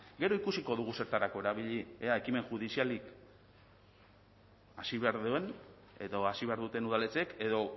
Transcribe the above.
gero ikusiko dugu zertarako erabili ea ekimen judizialik hasi behar duen edo hasi behar duten udaletxeek edo